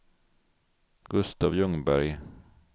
Gustaf Ljungberg